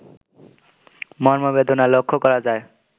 মর্মবেদনা লক্ষ্য করা যায়